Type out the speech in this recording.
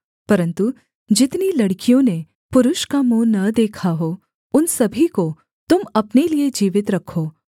परन्तु जितनी लड़कियों ने पुरुष का मुँह न देखा हो उन सभी को तुम अपने लिये जीवित रखो